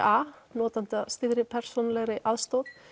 a notendastýrðri persónulegri aðstoð